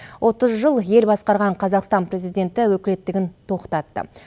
отыз жыл ел басқарған қазақстан президенті өкілеттігін тоқтатты